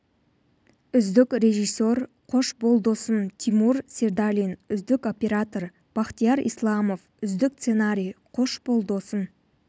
үздік режиссер қош бол досым тимур сердалин үздік оператор бахтияр исламов үздік сценарий қош бол досым